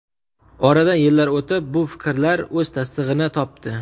Oradan yillar o‘tib, bu fikrlar o‘z tasdig‘ini topdi.